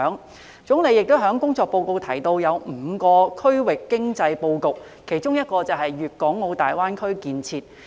國家總理亦在工作報告提到5個區域經濟布局，其中一個便是粵港澳大灣區建設。